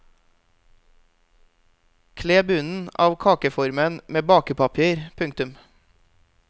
Kle bunnen av kakeformen med bakepapir. punktum